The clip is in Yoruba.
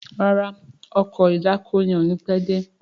ràrá Ọkọ̀ ìdákoní yén o ní pé dé.